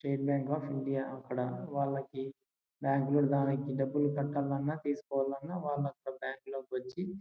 State Bank of India . అక్కడ bank లో డబ్బులు కట్టాలన్న తీసుకోవాలన్నా బ్యాంకు లోకి వచ్చి--